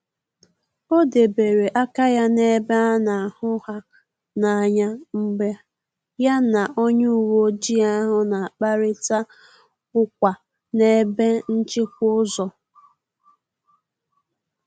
Ọ debere aka ya na-ebe a na hụ ha n’anya mgbe ya na onye uweojii ahu na-akparịta ukwa na n’ebe nchịkwa ụzọ